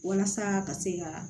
Walasa ka se ka